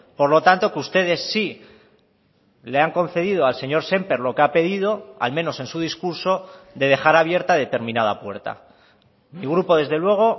por lo tanto que ustedes sí le han concedido al señor sémper lo que ha pedido al menos en su discurso de dejar abierta determinada puerta mi grupo desde luego